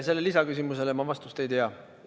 Sellele lisaküsimusele ma vastust ei tea.